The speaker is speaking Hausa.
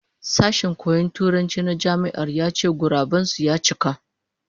Sashen koyon Turanci na Jami'ar ya ce guraben su ya cika